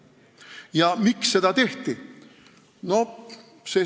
Ja miks seda tehti?